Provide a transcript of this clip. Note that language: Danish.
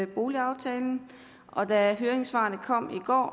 boligaftalen og da høringssvarene kom i går